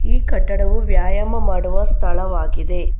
ಈ ಕಟ್ಟಡವು ವ್ಯಾಯಾಮ ಮಾಡುವ ಸ್ಥಳವಾಗಿದೆ.